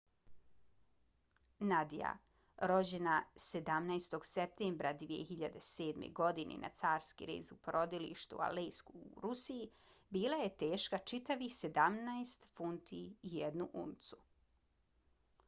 nadia rođena 17. septembra 2007. godine na carski rez u porodilištu u aleisku u rusiji bila je teška čitavih 17 funti i 1 uncu